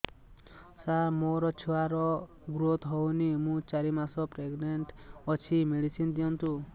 ସାର ମୋର ଛୁଆ ର ଗ୍ରୋଥ ହଉନି ମୁ ଚାରି ମାସ ପ୍ରେଗନାଂଟ ଅଛି ମେଡିସିନ ଦିଅନ୍ତୁ